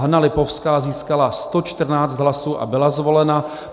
Hana Lipovská získala 114 hlasů a byla zvolena.